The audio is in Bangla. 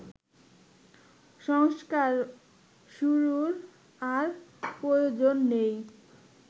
সংস্কার শুরুর আর প্রয়োজন নেই